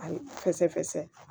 Ayi fɛsɛfɛ fɛsɛ